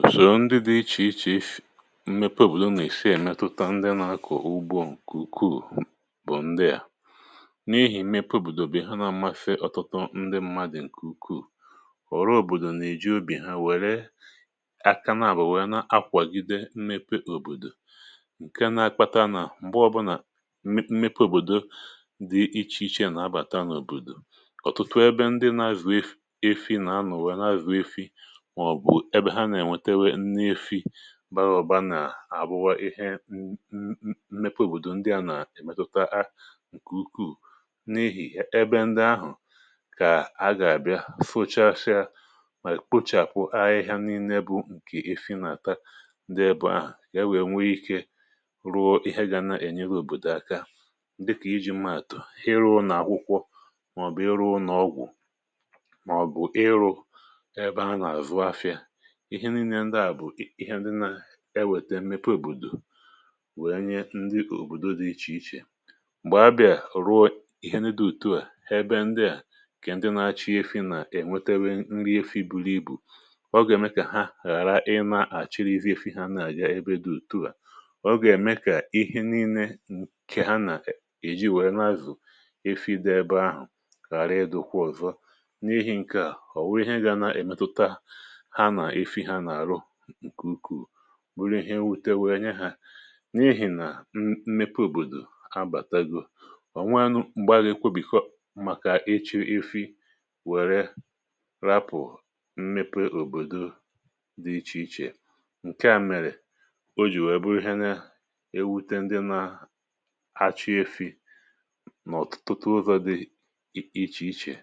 Òsòrò ndị dị iche iche n’ihi mmepe obodo na-esi emetụta ndị na-akọ ugbo nkuku. Ndị a bụ́ ndị n’ihi mmepe obodo bi ha, na-amasị ọtụtụ ndị mmadụ. Nke a ukwu, họrụ obodo na-eji ubi ha were aka na-abụwè, na-akwàgide mmepe obodo. Nke a na-akpata na mgbe ọbụna mmepe obodo dị iche iche na-abata n’obodo, ọtụtụ ebe ndị na-azụ efi na anụ wee na-azụ efi, ebe ha na-enwetewa nri efi barụbana arụwa ihe. Mmepe obodo ndị a na-emetụta karị ukwu n’ihi na ebe ndị ahụ ka a gabịa fuchachaa, ma kpochapụ ahịhịa nri n’ibu. Nke a ifi na-ata, ndị ebu ahụ ka enwe nwee ike ruo ihe ga-ana enye obodo aka. Dịka iji m atụ hịrụ na akwụkwọ, maọbụ hịrụ na ọgwụ, maọbụ ịrụ ebe ha na-azụ ahịa. Ihe niile ndị a bụ ihe ndị na-eweta mmepe obodo, wee nye ndị obodo dị iche iche mgbè abịa rụọ ihe niile dị mkpa. Ma ebe ndị a, ka ndị na-azụ efi na-enwetewa nri efi buru ibu, ọ ga-eme ka ha ghara inachị izu efi ha n’anya. Ebe dị otu a, ọ ga-eme ka ihe niile nke ha na-eji wee na-azụ efi dị ebe ahụ ka rie dụkwa ọzọ. N’ihi nke a, ọ bụrụ na ihe ga-emetụta, bụrụ ihe wute, wee nye ha n’ihi na mmepe obodo abatago, ọ nwere ike iweta mgbagha. Kwọbiko maka iche ifi were hapụ mmepe obodo dị iche iche. Nke a mere o ji wee bụrụ ihe na-ewute ndị na-azụ efi n’ụzọ dị iche iche.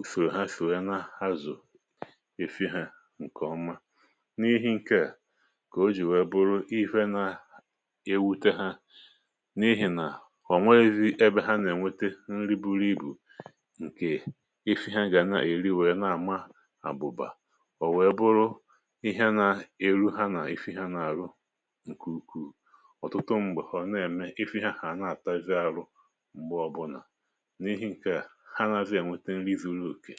Ụfụrụ ha shụo ya, na ha zọ ịchọ ifịa nke ọma. N’ihi nke a ka o ji wee bụrụ ifịa na-ewute ha, n’ihi na ọ nweghịzi ebe ha na-enweta nri buru ibu nke ifịa ha ga na-eri. Wee na-ama abụba, o wee bụrụ ihe na-eru ha na ifịa ha n’ọrụ nke ukwuu. Ọtụtụ mgbè họrọ na-eme, ifịa ha na-atazie arụ mgbe ọbụla metere nri zụrụ òkè.